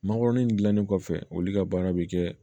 Mangoron in dilannen kɔfɛ olu ka baara bɛ kɛ